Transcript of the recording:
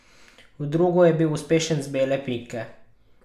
V drugo je bil uspešen z bele pike.